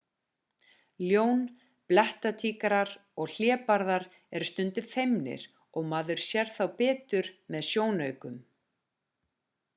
ljón blettatígrar og hlébarðar eru stundum feimnir og maður sér þá betur með sjónaukum